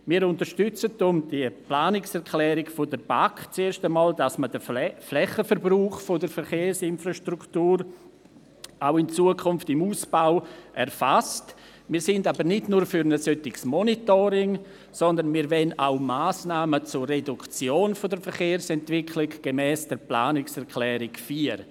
Wir unterstützen deshalb die Planungserklärung der BaK, sind aber nicht nur für ein solches Monitoring, sondern wir wollen auch Massnahmen zur Reduktion der Verkehrsentwicklung gemäss der Planungserklärung 4.